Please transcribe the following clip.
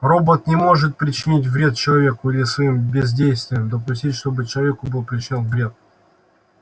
робот не может причинить вред человеку или своим бездействием допустить чтобы человеку был причинён вред